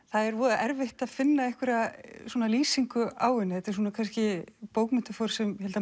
það er voða erfitt að finna einhverja lýsingu á henni þetta er svona kannski bókmenntaform sem ég held að